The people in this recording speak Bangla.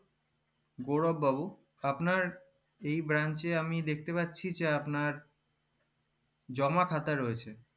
গৌরভ বাবু এই branch এ আমি দেখতে পাচ্ছি যে আপনার জমা খাতা রয়েছে